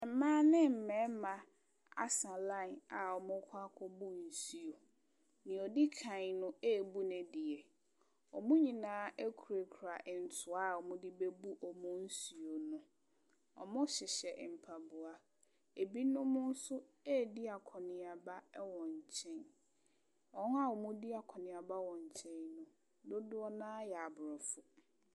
Mmaa ne mmarima asa line a wɔrekɔ akɔbu nsuo. Deɛ ɔdi kan no rebu ne deɛ. Wɔn nyina kurakura ntoa a wɔde rebabu wɔn nsuo no. wɔhyehyɛ mpaboa. Binom nso redi akɔneaba wɔ nkyɛn. Wɔn a wɔredi akɔneaba wɔ nkyɛn no, dodoɔ no ara yɛ Aborɔfo.